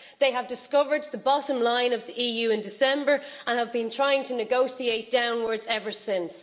They discovered the bottom line of the EU in December and have been trying to negotiate downwards ever since.